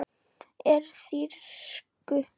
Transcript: Úr þýsku